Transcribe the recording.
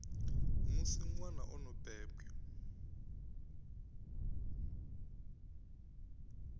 musi ṅwana o no bebwa